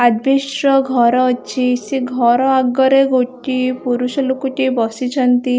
Asbestos ର ଘର ଅଛି ସିଏ ଘର ଆଗରେ ଗୋଟିଏ ପୁରୁଷ ଲୋକଟିଏ ବସିଛନ୍ତି ।